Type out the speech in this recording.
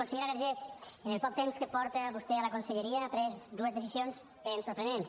consellera vergés en el poc temps que fa que vostè és a la conselleria ha pres dues decisions ben sorprenents